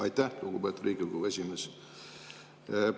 Aitäh, lugupeetud Riigikogu esimees!